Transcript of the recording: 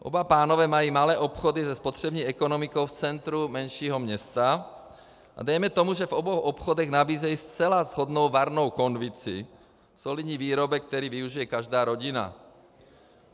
Oba pánové mají malé obchody se spotřební ekonomikou v centru menšího města a dejme tomu, že v obou obchodech nabízejí zcela shodnou varnou konvici, solidní výrobek, který využije každá rodina.